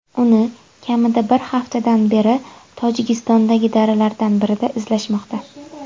Uni kamida bir haftadan beri Tojikistondagi daralardan birida izlashmoqda.